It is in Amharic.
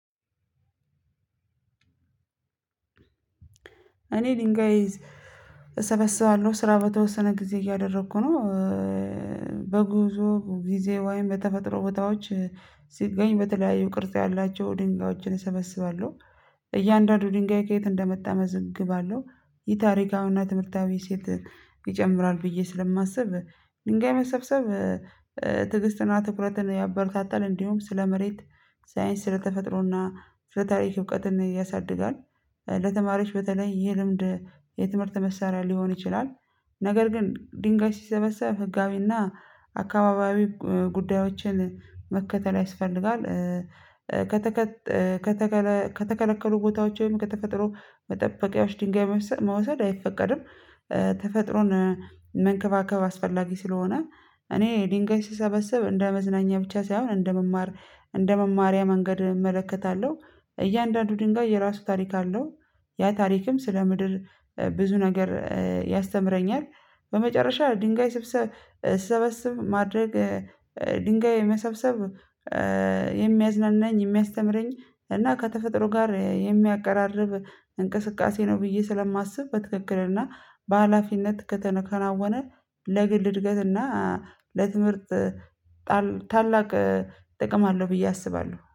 እኔ ድንጋይ እሰበስባለሁ ስራ በተወሰነ ጊዜ እያደረኩ ነው። በጉዞ ጊዜ ወይም በተፈጥሮ ቦታዎች ሲገኝ በተለያዩ ቅርጽ ያላቸው ድንጋዮችን እሰበስባለሁ። እያንዳንዱ ድንጋይ ከየት እንደመጣ መዘግባለሁ። የታሪካዊና ትምህርታዊ እሴት ይጨምራል ብዬ ስለማስብ ድንጋይ መሰብሰብ ትዕግስትና ትኩረትን ያበረታታል። እንዲሁም ስለ መሬት ሳይንስ ስለተፈጥሮና ስለ ታሪክ እውቀትን ያሳድጋል። ለተማሪዎች በተለይ ይህ ልምድ የትምህርት መሳሪያ ሊሆን ይችላል። ነገር ግን ድንጋይ ሲሰበሰብ ህጋዊና አካባቢያዊ ጉዳዮችን መከተል ያስፈልጋል። ከተከ ከተከለ ከተከለከሉ ቦታዎች ወይም ከተፈጥሮ መጠበቂያዎች ድንጋይ መውሰድ አይፈቀድም። ተፈጥሮን መንከባከብ አስፈላጊ ስለሆነ እኔ ድንጋይ ስሰበስብ እንደ መዝናኛ ብቻ ሳይሆን እንደመማር እንደመማሪያ መንገድ እመለከታለሁ። እያንዳንዱ ድንጋይ የራሱ ታሪክ አለው ያ ታሪክም ስለ ምድር ብዙ ነገር ያስተምረኛል። በመጨረሻ ድንጋይ ስብሰብ ስሰበስብ ማድረግ ድንጋይ መሰብሰብ የሚያዝናናኝ የሚያስተምረኝ እና ከተፈጥሮ ጋር የሚያቀራርብ። እንቅስቃሴ ነው ብዬ ስለማስብ በትክክልና በሃላፊነት ከተከናወነ ለግል እድገትና ለትምህርት ታላቅ ጥቅም አለው ብዬ አስባለሁ